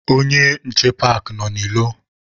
Onye nche paakị nọ n'ilo.